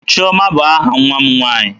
Chioma bụ aha nwa m nwaanyị.